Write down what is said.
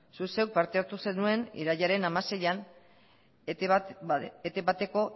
zuk zeuk parte hartu zenuen irailaren hamaseian etb bateko